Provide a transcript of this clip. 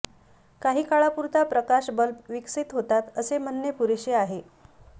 काही काळापुरता प्रकाश बल्ब विकसित होतात असे म्हणणे पुरेसे आहे